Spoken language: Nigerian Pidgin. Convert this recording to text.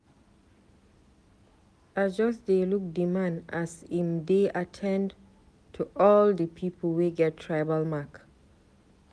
I just dey look di man as im dey at ten d to all di pipu wey get tribal mark.